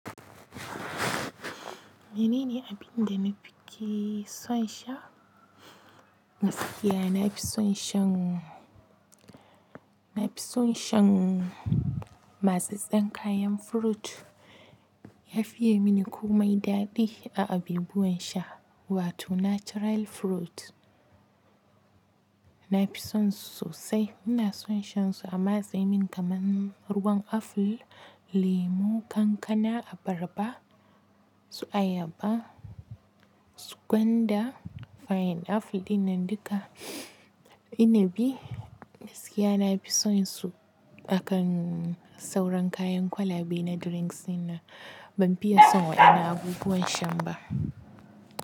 Menene abin da na fike son sha? Gaskiya na fi son shan, na fi son shan matsatsen kayan fruit. Ya fiyai mini komai daɗi a abibuwan sha, wato natural fruit. Na fi son su sosai. Ina son shan su a matsemin kaman ruwan aful, lemu, kankana, abarba, su ayaba, su gwanda, fayin-aful dinnan duka, inibi. Gaskiya na fi son su akan sauran kayan kwalabe na drinks dinnan. Ban fiye son waɗannan abubuwan shan ba.